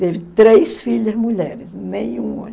Teve três filhas mulheres, nenhum homem.